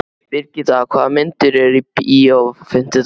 Brigitta, hvaða myndir eru í bíó á fimmtudaginn?